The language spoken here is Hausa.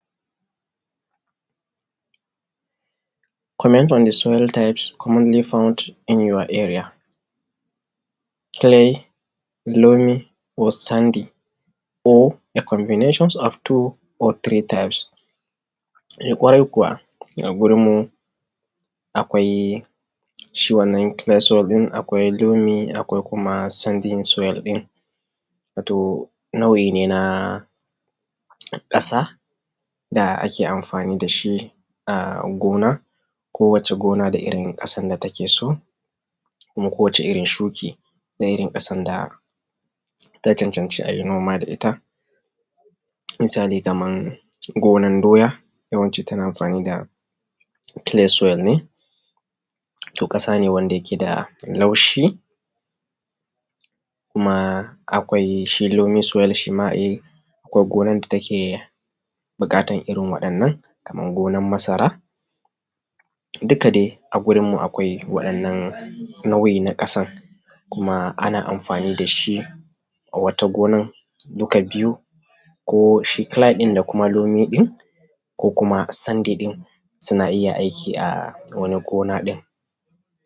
comment on soil type commonly found in our area. Kile, loamy soil, ko sandy soil, ko combination of two ko three types. Kwarai kuwa a gurinmu akwai shi wannan kile soil ɗin, akwai loamy soil, akwai kuma sandy soil. Wato nau’ine na ƙasa da ake amfani da shi a gona. Ko wacce gona da irin ƙasan da take so kuma ko wacce irin shuki da irin ƙasan da ta cancanci a yi noma da ita. Misali kamar gonan doya, yawanci ana amfani da kile soil ne ƙasa ce wacce take da laushi. Kuma akwai shi loamy soil. Akwai gonan da take buƙatan irin waɗannan kamar gonar masara. Duka dai a gurinmu akwai irin waɗannan nau’in ƙasan ana amfani da shi. Wata gonan duka biyun ko shi kile soil ɗin da kuma loamy soil ɗin, ko kuma sandy soil ɗin suna iya aiki a wani gonan.